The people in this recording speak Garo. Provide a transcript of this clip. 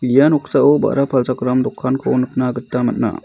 ia noksao ba·ra palchakram dokanko nikna gita man·a.